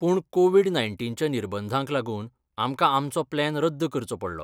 पूण कोविड नायन्टीनच्या निर्बंधांक लागून आमकां आमचो प्लॅन रद्द करचो पडलो.